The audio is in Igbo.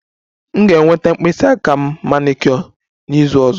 M ga-enweta mkpịsị aka m manicure n'izu ọzọ